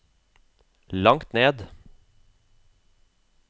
langt ned